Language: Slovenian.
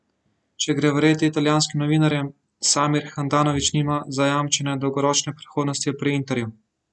Če gre verjeti italijanskim novinarjem, Samir Handanović nima zajamčene dolgoročne prihodnosti pri Interju.